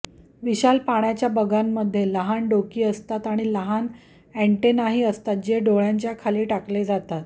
विशाल पाण्याच्या बगांमध्ये लहान डोकी असतात आणि लहान अॅन्टेनाही असतात जे डोळ्यांच्या खाली टकले जातात